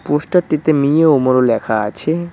Poster -টিতে মিও অমরো লেখা আছে।